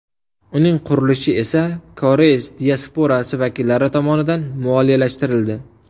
Uning qurilishi esa koreys diasporasi vakillari tomonidan moliyalashtirildi.